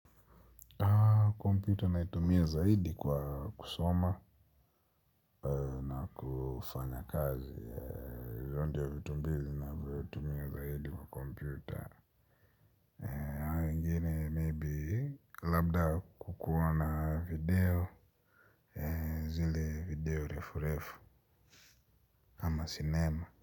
Kompyuta ninayoitumia zaidi kwa kusoma na kufanya kazi hizo ndio vitu mbizi na vitumia zaidi wa kompyuta mingine maybe labda kukuwa na video zile video refu refu ama cinema.